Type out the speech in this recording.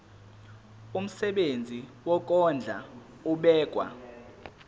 umsebenzi wokondla ubekwa